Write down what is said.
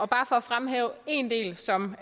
bare at fremhæve en del som